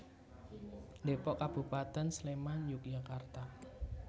Dépok Kabupatén Sléman Yogyakarta